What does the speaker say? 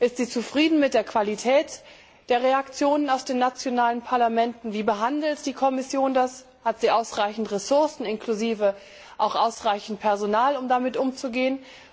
Ist sie zufrieden mit der Qualität der Reaktionen aus den nationalen Parlamenten, wie behandelt die Kommission das, hat sie ausreichend Ressourcen, inklusive auch ausreichendes Personal, um damit umzugehen?